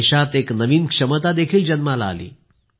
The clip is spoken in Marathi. देशात एक नवीन क्षमता देखील जन्माला आली